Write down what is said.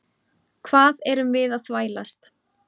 Hvað erum við að þvælast?